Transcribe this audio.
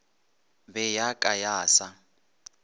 be ya ka ya sa